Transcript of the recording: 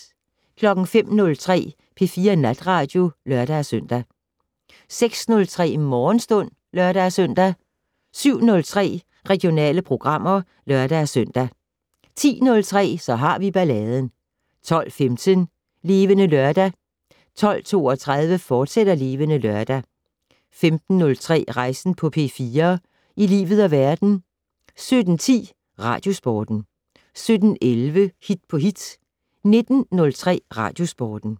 05:03: P4 Natradio (lør-søn) 06:03: Morgenstund (lør-søn) 07:03: Regionale programmer (lør-søn) 10:03: Så har vi balladen 12:15: Levende Lørdag 12:32: Levende Lørdag, fortsat 15:03: Rejsen på P4 - i livet og verden 17:10: Radiosporten 17:11: Hit på hit 19:03: Radiosporten